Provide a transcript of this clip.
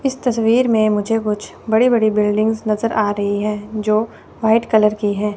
इस तस्वीर में मुझे कुछ बड़े बड़े बिल्डिंग्स नजर आ रही जो व्हाइट कलर की है।